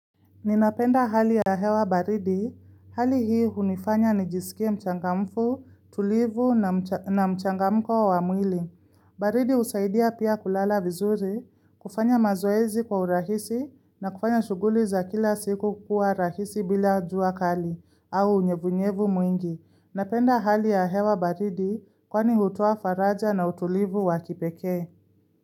Ninapenda hali ya hewa baridi, hali hii hunifanya nijisikie mchangamfu, tulivu na mchangamko wa mwili. Baridi usaidia pia kulala vizuri, kufanya mazoezi kwa urahisi na kufanya shuguli za kila siku kukuwa rahisi bila jua kali au unyevunyevu mwingi. Napenda hali ya hewa baridi kwani hutoa faraja na utulivu wakipekee.